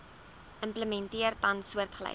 implementeer tans soortgelyke